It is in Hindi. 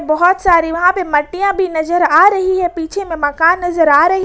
बहोत सारी वहां पे मटीया भी नजर आ रही है पीछे में मकान नजर आ रही--